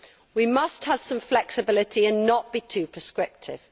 We must have some flexibility and not be too prescriptive.